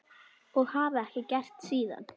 Og hafa ekki gert síðan.